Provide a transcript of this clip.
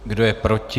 Kdo je proti?